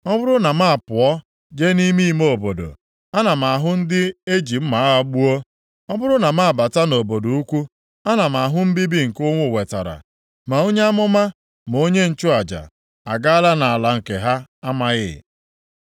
Ọ bụrụ na m apụọ jee nʼime ime obodo ana m ahụ ndị e ji mma agha gbuo; Ọ bụrụ na m abata nʼobodo ukwu, ana m ahụ mbibi nke ụnwụ wetara. Ma onye amụma ma onye nchụaja agaala nʼala nke ha amaghị.’ ”